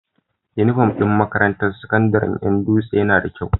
Inufom din makarantar sakandarin Yan dutse Yana da kyau